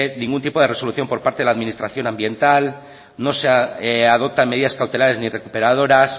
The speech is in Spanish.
ningún tipo de resolución por parte de la administración ambiental no se adoptan medidas cautelares ni recuperadoras